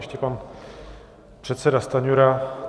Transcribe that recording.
Ještě pan předseda Stanjura.